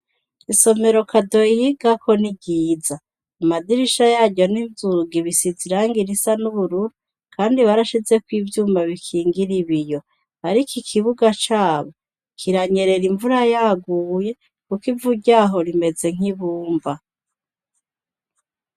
Isomero Kado yigako ni ryiza. Amadirisha yaryo n'inzugi bisize irangi risa n’ubururu kandi barashizekw'ivyuma bikingir'ibiyo. Ariko ikibuga cabo, kiranyerera imvura yaguye kukw'ivu ryaho rimeze nk'ibumba.